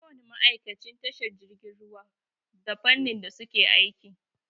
Ko wani ma'aikacin tashar jirgin ruwa da fannin da suke aiki.